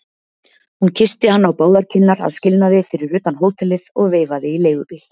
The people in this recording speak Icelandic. Hún kyssti hann á báðar kinnar að skilnaði fyrir utan hótelið og veifaði í leigubíl.